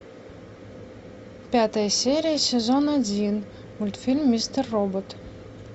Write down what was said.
пятая серия сезон один мультфильм мистер робот